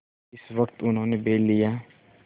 जिस वक्त उन्होंने बैल लिया